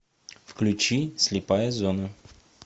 включи слепая зона